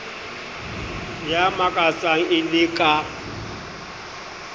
ya makatsang e le ka